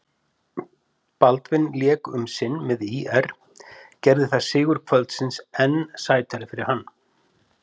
Baldvin lék um sinn með ÍR, gerði það sigur kvöldsins enn sætari fyrir hann?